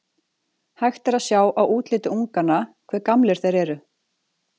Hægt er að sjá á útliti unganna hve gamlir þeir eru.